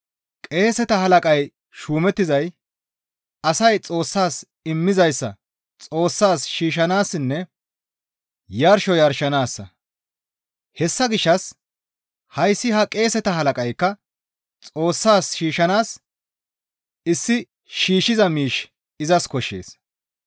Qeeseta halaqay shuumettizay asay Xoossas immizayssa Xoossas shiishshanaassinne yarsho yarshanaassa; hessa gishshas hayssi ha qeeseta halaqaykka Xoossas shiishshanaas issi shiishshiza miish izas koshshees.